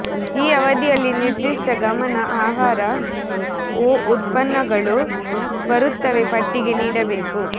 ಈ ಅವಧಿಯಲ್ಲಿ ನಿರ್ದಿಷ್ಟ ಗಮನ ಆಹಾರ ಒ ಉತ್ಪನ್ನಗಳು ಬರುತ್ತವೆ ಪಟ್ಟಿಗೆ ನೀಡಬೇಕು